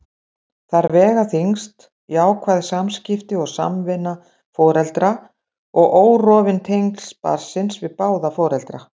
Þar vega þyngst jákvæð samskipti og samvinna foreldra og órofin tengsl barnsins við báða foreldra.